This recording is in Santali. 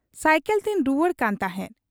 ᱥᱟᱹᱭᱠᱚᱞᱛᱤᱧ ᱨᱩᱣᱟᱹᱲ ᱠᱟᱱ ᱛᱟᱦᱮᱸᱫ ᱾